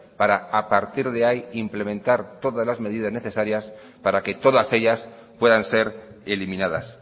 para a partir de ahí implementar todas las medidas necesarias para que todas ellas puedan ser eliminadas